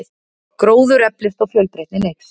Gróður eflist og fjölbreytnin eykst.